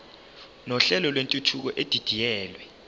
nohlelo lwentuthuko edidiyelwe